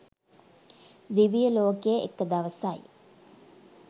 දිවිය ලෝකෙ එක දවසයි.